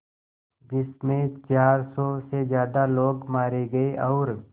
जिस में चार सौ से ज़्यादा लोग मारे गए और